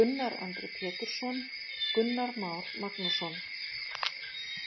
Gunnar Andri Pétursson, Gunnar Már Magnússon.